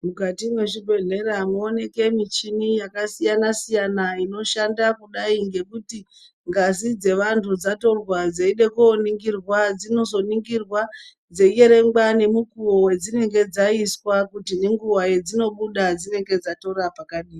Mukatu mezvi bhedhlera mo oneke michini yaka siyana siyana ino shanda kudai ngekuti ngazi dze vantu dzatorwa dzeida kuningirwa dzinozo ningirwa dzei erengwa nemi nemukuvo dzinenge dzaiswa kuti nenguva dza dzino buda dzinenge dzato rapwa kare.